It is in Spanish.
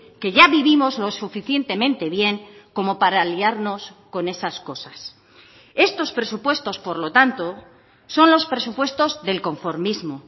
que ya vivimos lo suficientemente bien como para liarnos con esas cosas estos presupuestos por lo tanto son los presupuestos del conformismo